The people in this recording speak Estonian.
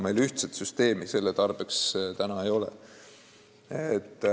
Aga ühtset süsteemi selle tarbeks ei ole.